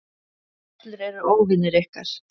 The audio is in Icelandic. Allir eru óvinir ykkar.